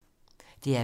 DR P3